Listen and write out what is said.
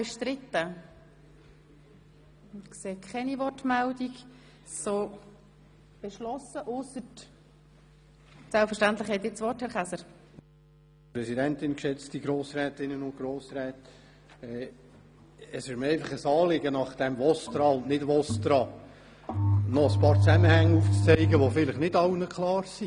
Nach diesem VOSTRA und Nicht-VOSTRA ist es mir ein Anliegen, noch ein paar Zusammenhänge aufzuzeigen, die vielleicht nicht allen klar sind.